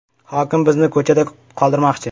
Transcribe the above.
“Hokim bizni ko‘chada qoldirmoqchi”.